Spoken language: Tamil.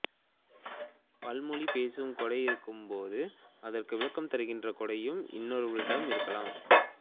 பல்மொழி பேசும் கொடை இருக்கும்போது அதற்கு விளக்கம் தருகின்ற கொடையும் இன்னொருவரிடம் இருக்கலாம்